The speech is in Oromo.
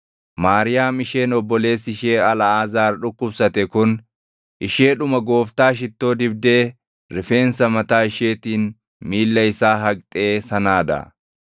Maariyaam isheen obboleessi ishee Alʼaazaar dhukkubsate kun, isheedhuma Gooftaa shittoo dibdee rifeensa mataa isheetiin miilla isaa haqxee sanaa dha.